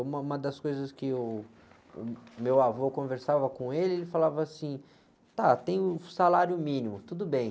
Uma, uma das coisas que o, o meu avô, eu conversava com ele, ele falava assim, tá, tem o salário mínimo, tudo bem.